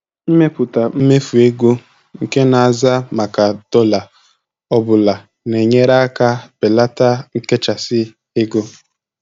Ịmepụta mmefu ego nke na-aza maka dọla ọ bụla na-enyere aka belata nchekasị ego.